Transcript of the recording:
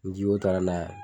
Ni jiwoyo taara n'a ye